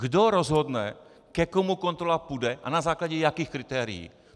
Kdo rozhodne, ke komu kontrola půjde, a na základě jakých kritérií?